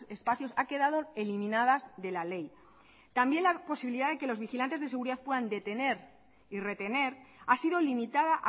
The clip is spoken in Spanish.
espacios ha quedado eliminadas de la ley también la posibilidad de que los vigilantes de seguridad puedan detener y retener ha sido limitada